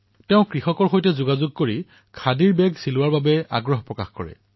তেওঁ কৃষকসকলৰ সৈতে যোগাযোগ কৰি খাদী বেগ নিৰ্মাণ কৰোৱাইছিল